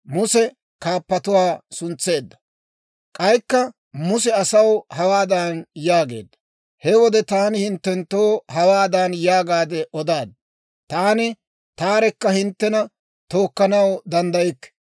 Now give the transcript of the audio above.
K'aykka Muse asaw hawaadan yaageedda; «He wode taani hinttenttoo hawaadan yaagaade odaad; ‹Taani taarekka hinttena tookkanaw danddaykke.